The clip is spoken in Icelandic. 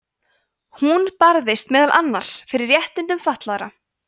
hún barðist meðal annars fyrir réttindum fatlaðra